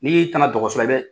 N'i tana dɔgɔsola i bɛ